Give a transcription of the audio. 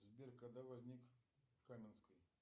сбер когда возник каменский